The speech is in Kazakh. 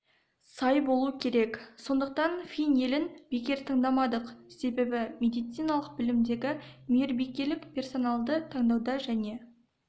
сай болу керек сондықтан фин елін бекер таңдамадық себебі медициналық білімдегі мейірбикелік персоналды таңдауда және